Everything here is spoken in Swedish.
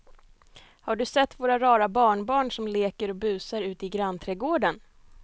Har du sett våra rara barnbarn som leker och busar ute i grannträdgården!